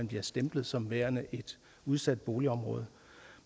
bliver stemplet som værende et udsat boligområde